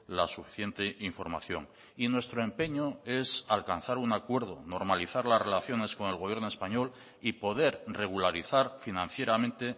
la suficiente información y nuestro empeño es alcanzar un acuerdo normalizar las relaciones con el gobierno español y poder regularizar financieramente